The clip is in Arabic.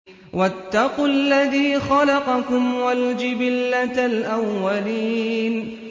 وَاتَّقُوا الَّذِي خَلَقَكُمْ وَالْجِبِلَّةَ الْأَوَّلِينَ